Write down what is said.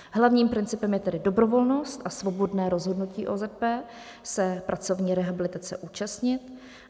Hlavním principem je tedy dobrovolnost a svobodné rozhodnutí OZP se pracovní rehabilitace účastnit.